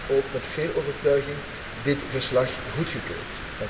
Ik heb dan ook met veel overtuiging dit verslag goedgekeurd.